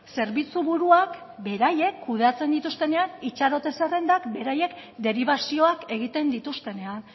zerbitzuburuak beraiek kudeatzen dituztenean itxarote zerrendak beraiek deribazioak egiten dituztenean